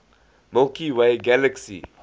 milky way galaxy